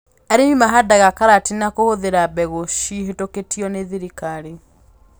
Arĩmi mahandaga karati na kũhũthĩra mbegũ cihĩtũkĩtio nĩ thirikari